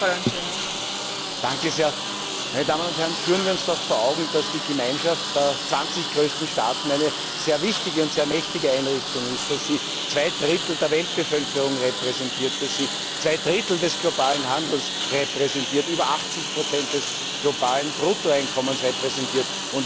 Frau Präsidentin, meine Damen und Herren! Führen wir uns doch vor Augen, dass die Gemeinschaft der 20 größten Staaten eine sehr wichtige und sehr mächtige Einrichtung ist, dass sie zwei Drittel der Weltbevölkerung repräsentiert, dass sie zwei Drittel des globalen Handels repräsentiert, über 80 des globalen Bruttoeinkommens repräsentiert.